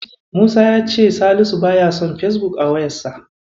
Musa ya ce Salisu baya son Fesbuk a wayarsa.